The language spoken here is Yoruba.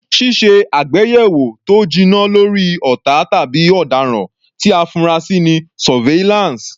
Ṣíṣe àgbéyẹ̀wò tó jinná lórí ọ̀tá tàbí ọ̀daràn tí a fura sí ni Surveillance.